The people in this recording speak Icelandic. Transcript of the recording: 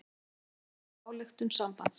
Þetta kemur fram í ályktun sambandsins